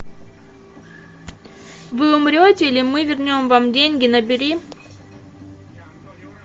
вы умрете или мы вернем вам деньги набери